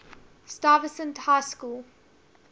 stuyvesant high school